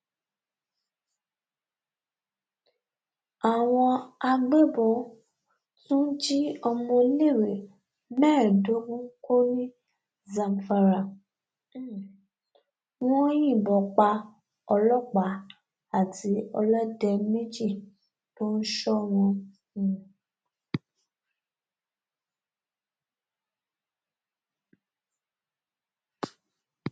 àwọn agbébọn tún jí ọmọléèwé mẹẹẹdógún kó ní zamfara um wọn yìnbọn pa ọlọpàá àti ọlọdẹ méjì tó ń sọ wọn um